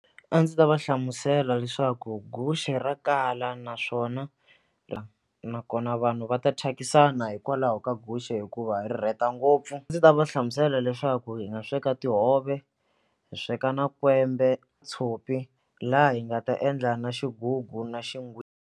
A ndzi ta va hlamusela leswaku guxe ra kala naswona nakona vanhu va ta thyakisana hikwalaho ka guxe hikuva ri rheta ngopfu ndzi ta va hlamusela leswaku hi nga sweka tihove hi sweka na kwembe tshopi laha hi nga ta endla na xigugu na .